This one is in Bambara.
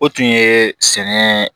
O tun ye sɛnɛ